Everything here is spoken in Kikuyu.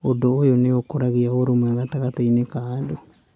Ũndũ ũyũ nĩ ũkũragia ũrũmwe gatagatĩ-inĩ ka andũ.